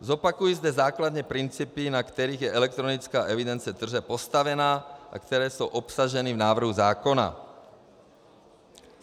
Zopakuji zde základní principy, na kterých je elektronická evidence tržeb postavena a které jsou obsaženy v návrhu zákona.